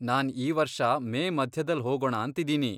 ನಾನ್ ಈ ವರ್ಷ ಮೇ ಮಧ್ಯದಲ್ ಹೋಗೋಣಾಂತಿದೀನಿ.